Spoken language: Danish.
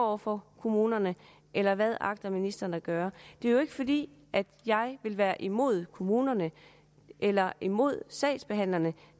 over for kommunerne eller hvad agter ministeren at gøre det er jo ikke fordi jeg vil være imod kommunerne eller imod sagsbehandlerne